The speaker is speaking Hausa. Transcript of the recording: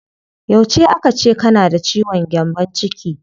Yauce aka ce kana da ciwon gyambon ciki?